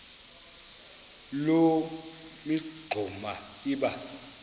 loo mingxuma iba